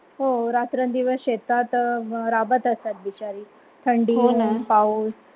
हो रात्रंदिवस शेतात राबत असतात. बिचारी थंडीही पाऊस.